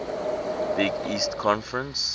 big east conference